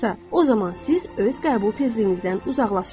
o zaman siz öz qəbul tezliyinizdən uzaqlaşırsınız.